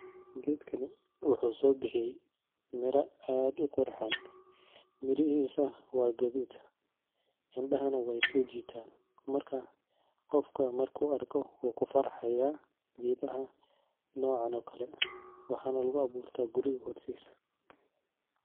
Gedkani wuxu sobixiye, mira ad uqurxon, mirixisaa wa qadud, indaxanaa waysojitaan, marka gofka marku arko, wukufarxayaa qedhaha noocan o kale waxana laguaburta hortisa.